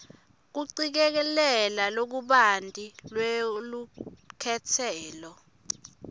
kucikelela lokubanti lwelukhetselo